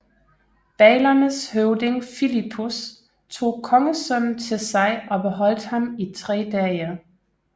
Baglernes høvding Filippus tog kongesønnen til sig og beholdt ham i tre dage